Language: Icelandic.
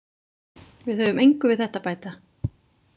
Við höfum engu við þetta að bæta.